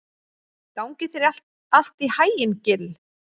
Gangi þér allt í haginn, Gill.